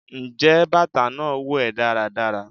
njẹ batà naa wo è daradara?